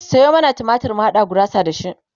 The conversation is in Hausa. Sayo mana tumatir mu haɗa gurasa da shi